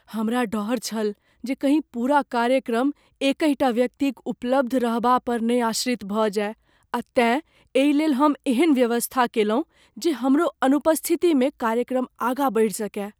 हमरा डर छल जे कहीं पूरा कार्यक्रम एकहि टा व्यक्तिक उपलब्ध रहबापर ने आश्रित भऽ जाय आ तेँ एहि लेल हम एहन व्यवस्था कएलहुँ जे हमरो अनुपस्थितिमे कार्यक्रम आगाँ बढ़ि सकय।